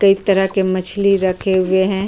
कई तरह के मछली रखे हुए है।